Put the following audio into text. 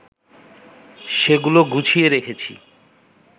সেগুলো গুছিয়ে রেখেছি